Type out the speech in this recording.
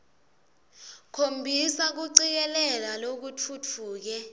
khombisa kucikelela lokutfutfuke